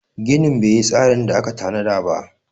ginin ba yi tsarin da aka tana da ba